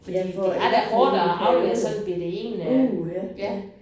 Fordi fordi det er da hårdt at aflevere sådan en bette en øh ja